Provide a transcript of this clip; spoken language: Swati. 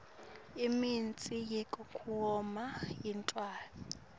imitsi yekugoma yetilwane